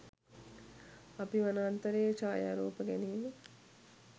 අපි වනාන්තරයේ ඡායාරූප ගැනීම